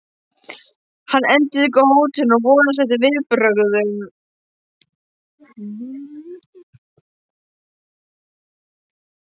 Hann endurtekur hótunina og vonast eftir viðbrögðum.